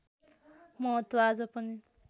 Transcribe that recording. महत्त्व आज पनि